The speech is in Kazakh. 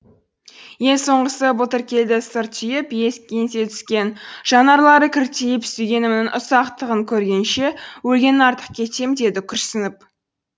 ең соңғысы былтыр келді сыр түйіп еңсе түскен жанарлары кіртиіп сүйгенімнің ұсақтығын көргенше өлген артық кетем деді күрсініп